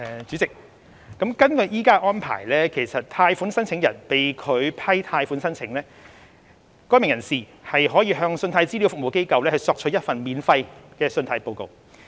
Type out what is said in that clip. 主席，根據現行安排，如果貸款申請人被拒批貸款申請，該名人士可向信貸資料服務機構索取一份免費的信貸報告。